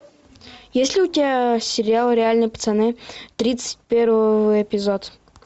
есть ли у тебя сериал реальные пацаны тридцать первый эпизод